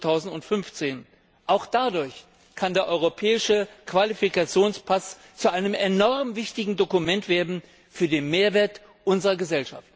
2015. Auch dadurch kann der Europäische Qualifikationspass zu einem enorm wichtigen Dokument werden für den Mehrwert unserer Gesellschaft.